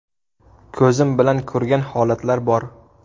Ko‘zim bilan ko‘rgan holatlar bor.